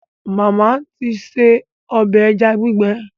Màmá ti ṣe ọbẹ̀ ẹja gbígbẹ